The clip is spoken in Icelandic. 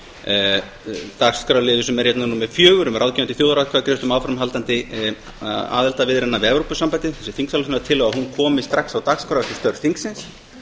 að dagskrárliður sem er hérna númer fjögur um ráðgefandi þjóðaratkvæðagreiðslu um áframhald aðildarviðræðna við evrópusambandið þessi þingsályktunartillaga komi strax á dagskrá eftir störf þingsins